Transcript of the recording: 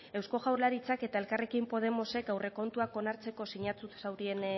eusko jaurlaritzak eta elkarrekin podemosek aurrekontuak onartzeko sinatu zuten